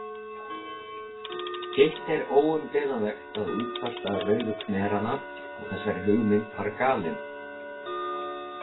Hitt er óumdeilanlegt að útfærsla Rauðu khmeranna á þessari hugmynd var galin.